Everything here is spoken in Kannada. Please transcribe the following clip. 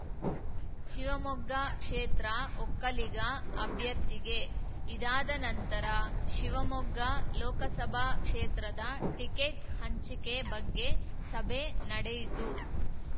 ಶಿವಮೊಗ್ಗ ಕ್ಷೇತ್ರ ಒಕ್ಕಲಿಗ ಅಭ್ಯರ್ಥಿಗೆ ಇದಾದ ನಂತರ ಶಿವಮೊಗ್ಗ ಲೋಕಸಭಾ ಕ್ಷೇತ್ರದ ಟಿಕೆಟ್‌ ಹಂಚಿಕೆ ಬಗ್ಗೆ ಸಭೆ ನಡೆಯಿತು